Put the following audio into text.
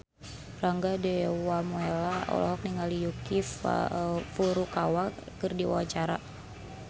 Rangga Dewamoela olohok ningali Yuki Furukawa keur diwawancara